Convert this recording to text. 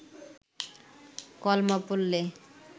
কলমা পড়লে